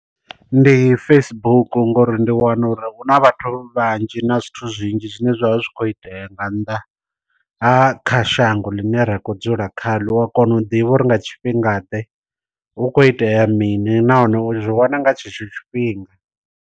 Ndi Facebook ngori ndi wana uri hu na vhathu vhanzhi na zwithu zwinzhi zwine zwavha zwi kho itea nga nnḓa ha kha shango ḽine ra khou dzula kha ḽo, u a kona u ḓivha uri nga tshifhingaḓe hu khou itea mini nahone u zwi wana nga tshetsho tshifhinga.